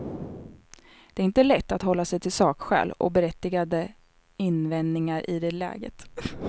Det är inte lätt att hålla sig till sakskäl och berättigade invändningar i det läget.